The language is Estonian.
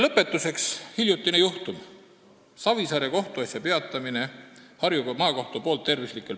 Lõpetuseks aga ühest hiljutisest juhtumist: Harju Maakohus lõpetas Savisaare kohtuasja, viidates süüdistatava halvale tervisele.